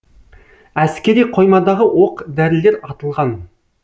әскери қоймадағы оқ дәрілер атылған